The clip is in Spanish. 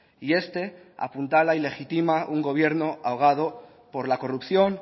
y este apuntala y legitima un gobierno ahogado por la corrupción